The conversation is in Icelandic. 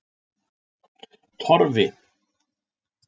Torfi